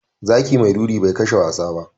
Zaki mai ruri bai kashe wasa ba.